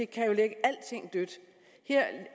kan lægge alting dødt her